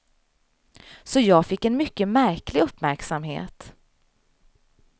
Så jag fick en mycket märklig uppmärksamhet.